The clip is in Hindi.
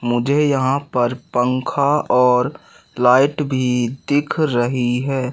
मुझे यहां पर पंखा और लाइट भी दिख रही है।